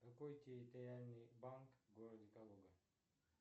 какой территориальный банк в городе калуга